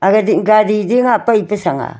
agadih gadi zinghah pai pa sang a.